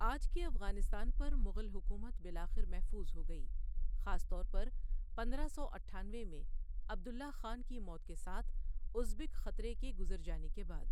آج کے افغانستان پر مغل حکومت بالآخر محفوظ ہو گئی، خاص طور پر پندرہ سو اٹھانوے میں عبداللہ خان کی موت کے ساتھ ازبک خطرے کے گزر جانے کے بعد۔